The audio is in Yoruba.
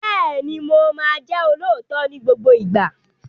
Bẹ́ẹ̀ni, mo máa jẹ́ olóòótọ́ ní gbogbo ìgbà.